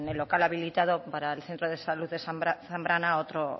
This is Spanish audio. el local habilitado para el centro de salud de zambrana a otro